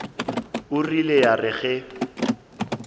e rile ya re ge